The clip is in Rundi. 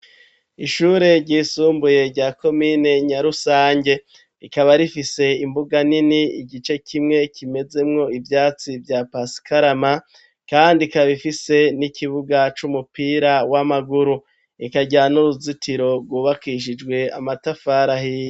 Ishure ryisumbuye rya komine Nyarusange rikaba rifise imbuga nini igice kimwe kimezemwo ivyatsi vya pasikarama kandi ikaba ifise n'ikibuga c'umupira w'amaguru ikagira n'uruzitiro rwubakishijwe amatafari ahiye